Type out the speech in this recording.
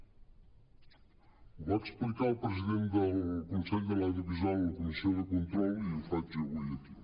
ho va explicar el president del consell de l’audiovisual en la comissió de control i ho faig avui aquí